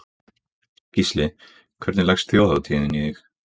Gísli: Hvernig leggst þjóðhátíðin í þig?